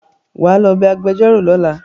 wá ló bé agbejoro lọla